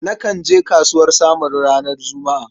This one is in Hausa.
Nakan je kasuwar Samaru ranar Juma'a.